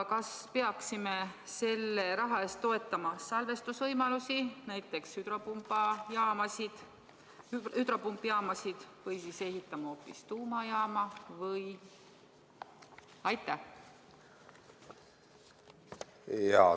Kas peaksime selle raha eest toetama salvestusvõimalusi, näiteks hüdropumpjaamasid või ehitama hoopis tuumajaama?